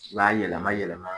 I b'a yɛlɛma yɛlɛma